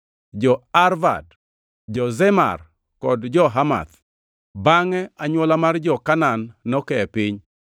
jo-Arvad, jo-Zemar kod jo-Hamath. (Bangʼe anywola mar jo-Kanaan noke e piny,